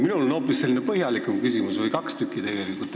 Minul on hoopis põhjalikum küsimus, tegelikult on neid kaks tükki.